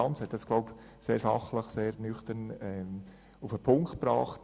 Lanz hat es sehr sachlich und nüchtern auf den Punkt gebracht: